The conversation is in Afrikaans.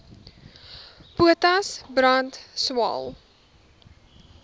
potas brand swael